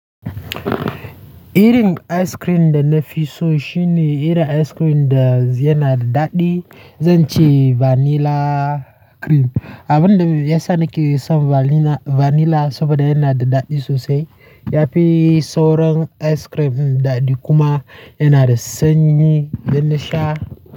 Eating ice cream dana fisu shine, iri ice cream da yana da daɗi, zan ci vanilla cream. Abun da ya sa nake son vanilla saboda yana da daɗi sosai. Yafi sauran ice cream daɗi kuma yana da sanyi da na sha.